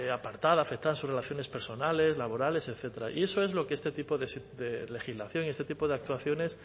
apartada afectada en sus relaciones personales laborales etcétera y eso es lo que este tipo de legislación y este tipo de actuaciones